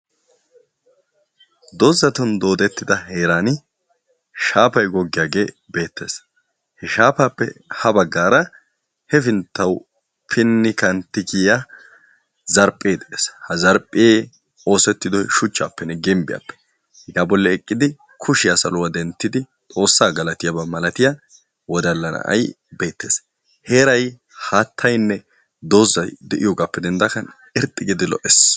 Doozatun doodettida heeraani shaapay goggiyaage beettes. He shaapappe ha baggaara heppinttawu pinni kantti kiya zarphee de"ees. He zarphee oosetyidoy shuchchaappenne gimbiyaappe hegaa bolli eqqidi kushiya saluwa denttidi xoossa galatiyaaba malatiya wodalla na"ay beettes. Heeray haattayinne doozay de"iyoogaappe dendaagan irxxi giidi lo"es.